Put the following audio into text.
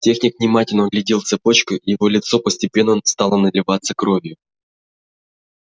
техник внимательно оглядел цепочку и его лицо постепенно стало наливаться кровью